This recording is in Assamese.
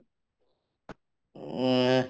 উম আহ্